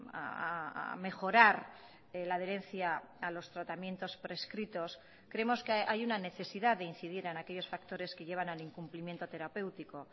a mejorar la adherencia a los tratamientos prescritos creemos que hay una necesidad de incidir en aquellos factores que llevan al incumplimiento terapéutico